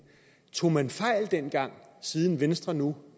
tog man fejl dengang siden venstre nu